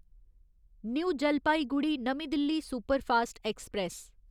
new Jalpaiguri नमीं Delhi superfast express